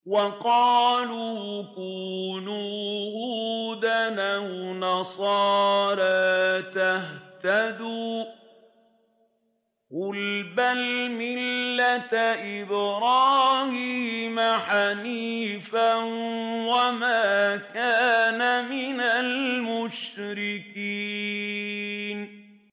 وَقَالُوا كُونُوا هُودًا أَوْ نَصَارَىٰ تَهْتَدُوا ۗ قُلْ بَلْ مِلَّةَ إِبْرَاهِيمَ حَنِيفًا ۖ وَمَا كَانَ مِنَ الْمُشْرِكِينَ